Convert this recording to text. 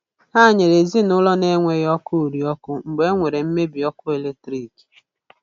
Ha nyere ezinụụlọ na-enweghị ọkụ uri ọkụ mgbe e nwere mmebi ọkụ eletrik.